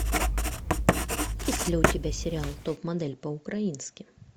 есть ли у тебя сериал топ модель по украински